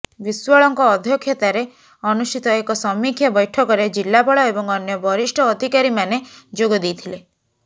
ବିଶ୍ୱାଳଙ୍କ ଅଧ୍ୟକ୍ଷତାରେ ଅନୁଷ୍ଠିତ ଏକ ସମୀକ୍ଷା ବୈଠକରେ ଜିଲ୍ଲାପାଳ ଏବଂ ଅନ୍ୟ ବରିଷ୍ଠ ଅଧିକାରୀମାନେ ଯୋଗଦେଇଥିଲେ